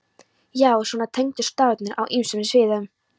Já, svona tengdust staðirnir á ýmsum sviðum.